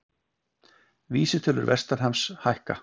Vísitölur vestanhafs hækka